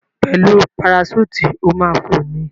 Pẹ̀lú paraṣúùtì, o ma ma fò ni.